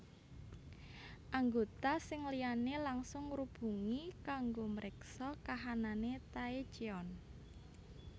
Anggota sing liyane langsung ngrubungi kanggo mriksa kahanane Taecyeon